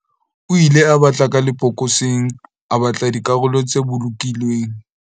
o ile a batla ka lebokoseng a batla dikarolo tse bolokilweng